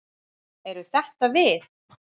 Eru þetta við?